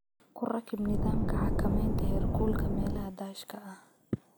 Ku rakib nidaamka xakamaynta heerkulka meelaha daashka ah.